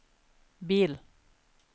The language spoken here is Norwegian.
bil